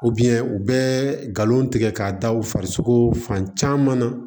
u bɛ nkalon tigɛ k'a da u farisogo fan caman na